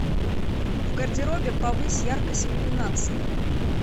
в гардеробе повысь яркость иллюминации